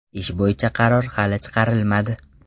Ish bo‘yicha qaror hali chiqarilmadi.